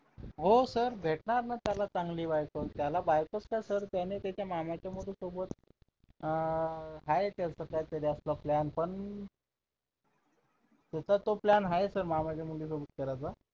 हो sir भेटणार ना त्याला चांगली बायको त्याला बायकोच काय sir त्याने त्याच्या मामाच्या मुली सोबत अं आहे त्याचं तसं plan पण त्याचा तो plan आहे सर मामाच्या मुली सोबत करायचा